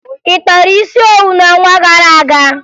Ị kpara isi owu n'ọnwa gara aga?